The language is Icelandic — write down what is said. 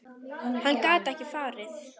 Hann gat ekki farið.